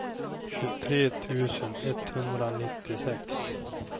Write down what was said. tjugotre tusen etthundranittiosex